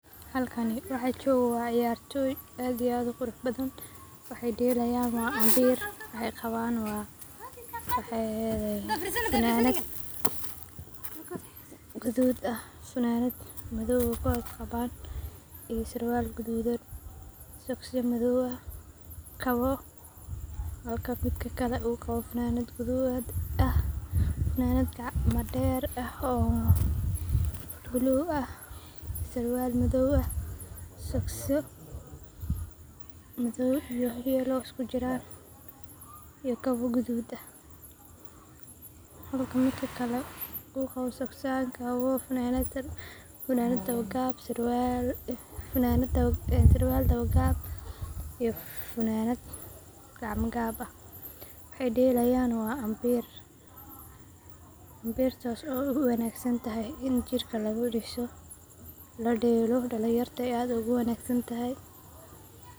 Halkani waxaa joogo waa ciyartoy aad iyo aad u qurux badhan, waxaay deelayan waa ambiir waxaay qawan waa mxaay eheedhee funanad gudhud ah funanad madhow ah ka hoos qawan, iyo sarwaal gudhuudan, sogosya madhoow ah, kawoo funanad gacma der ah oo blue ah, sarwaal madhow ah sogosyo madhoow iyo yellow iskujiran iyo kawo gudhud ah. Hlka midka kale uu qawo sogs yal, kawo, funanad iyo surwal dawo gaab, waxaay delayan waa ambir, imbirtaas oo u wanagsan tahay in jirka lagu diiso la deelo dalin yarta ay aad oo gu wanagsan tahay.